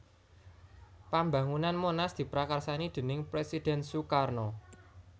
Pambangunan Monas diprakarsani déning Presiden Soekarno